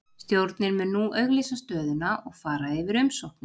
Stjórnin mun nú auglýsa stöðuna og fara yfir umsóknir.